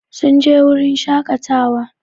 Sun je wurin shakatawa